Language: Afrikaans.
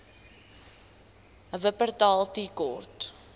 wupperthal tea court